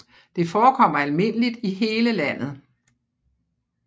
Det forekommer almindeligt i hele landet